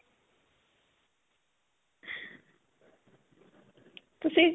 ਤੁਸੀਂ